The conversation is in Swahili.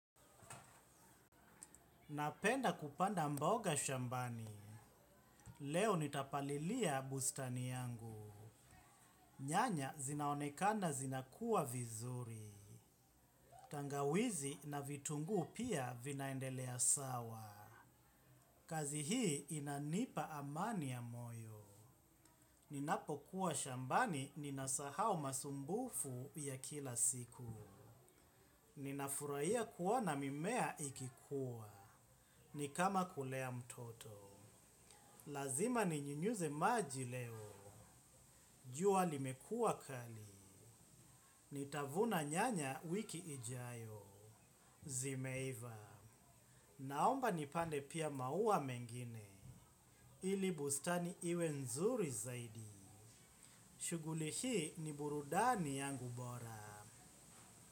Napenda kupanda mboga shambani. Leo nitapalilia bustani yangu. Nyanya zinaonekana zinakua vizuri. Tangawizi na vitungu pia vinaendelea sawa. Kazi hii inanipa amani ya moyo. Ninapokuwa shambani ninasahau masumbufu ya kila siku. Ninafurahia kuona mimea ikikuwa. Ni kama kulea mtoto. Lazima ninyunyuze maji leo. Jua limekuwa kali. Nitavuna nyanya wiki ijayo. Zimeiva. Naomba nipande pia maua mengine. Ili bustani iwe nzuri zaidi. Shughuli hii ni burudani yangu bora.